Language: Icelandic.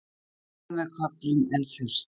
Skýjað með köflum en þurrt